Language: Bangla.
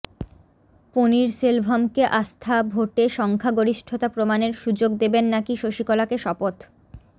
পনিরসেলভমকে আস্থা ভোটে সংখ্যাগরিষ্ঠতা প্রমাণের সুযোগ দেবেন নাকি শশীকলাকে শপথ